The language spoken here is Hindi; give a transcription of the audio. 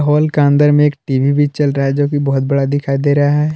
हॉल के अंदर में एक टी_वी भी चल रहा है जो कि बहुत बड़ा दिखाई दे रहा है।